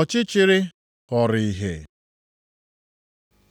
Ọchịchịrị ghọrọ ìhè